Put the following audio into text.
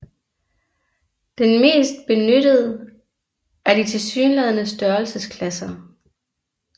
Den mest benyttede er de tilsyneladende størrelsesklasser